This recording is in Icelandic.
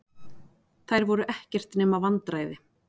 Þær voru ekkert nema vandræði.